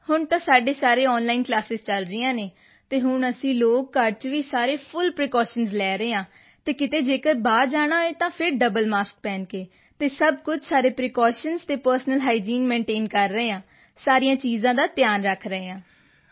ਹੁਣ ਤਾਂ ਸਾਡੇ ਸਾਰੇ ਆਨਲਾਈਨ ਕਲਾਸਾਂ ਚਲ ਰਹੇ ਹਨ ਅਤੇ ਹੁਣ ਅਸੀਂ ਲੋਕ ਘਰ ਵਿੱਚ ਵੀ ਸਾਰੇ ਫੁੱਲ ਪ੍ਰੀਕੌਸ਼ਨਜ਼ ਲੈ ਰਹੇ ਹਾਂ ਅਤੇ ਕਿਤੇ ਜੇਕਰ ਬਾਹਰ ਜਾਣਾ ਹੈ ਤਾਂ ਫਿਰ ਡਬਲ ਮਾਸਕ ਪਹਿਨ ਕੇ ਅਤੇ ਸਭ ਕੁਝ ਸਾਰੇ ਪ੍ਰੀਕੌਸ਼ਨਜ਼ ਅਤੇ ਪਰਸਨਲ ਹਾਈਜੀਨ ਮੈਂਟੇਨ ਕਰ ਰਹੇ ਹਾਂ ਸਾਰੀਆਂ ਚੀਜ਼ਾਂ ਦਾ ਧਿਆਨ ਰੱਖ ਰਹੇ ਹਾਂ